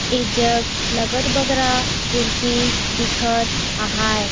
ऐ जग लगत बगरा कुर्सी दिखत आहाए।